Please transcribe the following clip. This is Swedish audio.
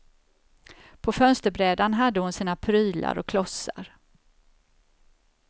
På fönsterbrädan hade hon sina prylar och klossar.